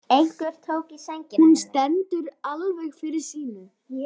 Hún stendur alveg fyrir sínu.